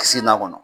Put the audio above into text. Kisi n'a kɔnɔ